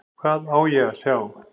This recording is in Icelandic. Hvað á ég að sjá?